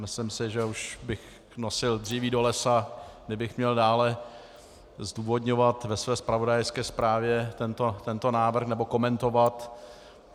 Myslím si, že už bych nosil dříví do lesa, kdybych měl dále zdůvodňovat ve své zpravodajské zprávě tento návrh, nebo komentovat.